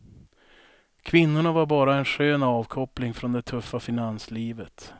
Kvinnorna var bara en skön avkoppling från det tuffa finanslivet.